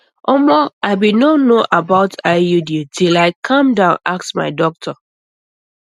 omo i bin no know about iud till i calm down ask my doctor